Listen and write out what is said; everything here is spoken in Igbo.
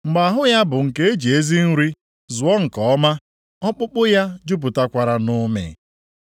mgbe ahụ ya bụ nke eji ezi nri zụọ nke ọma, ọkpụkpụ ya jupụtakwara nʼụmị.